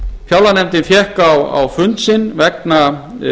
fjárlaganefndin fékk á fund sinn vegna